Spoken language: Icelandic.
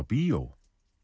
bíó